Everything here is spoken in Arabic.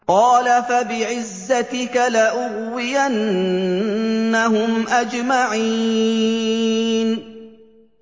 قَالَ فَبِعِزَّتِكَ لَأُغْوِيَنَّهُمْ أَجْمَعِينَ